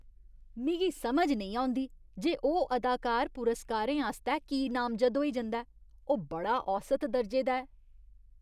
मिगी समझ नेईं औंदी जे ओह् अदाकार पुरस्कारें आस्तै की नामजद होई जंदा ऐ। ओह् बड़ा औसत दर्जे दा ऐ।